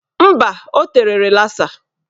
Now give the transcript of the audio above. Mba, o tere rịlasa.